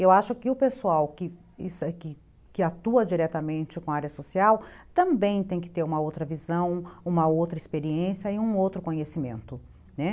Eu acho que o pessoal que atua diretamente com a área social também tem que ter uma outra visão, uma outra experiência e um outro conhecimento.